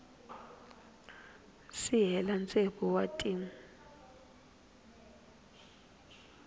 si hela tsevu wa tin